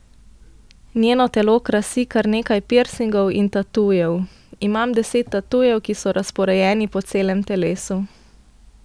Njeno telo krasi kar nekaj pirsingov in tatujev: 'Imam deset tatujev, ki so razporejeni po celem telesu.